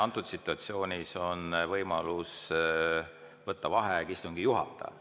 Antud situatsioonis on võimalus võtta vaheaeg istungi juhatajal.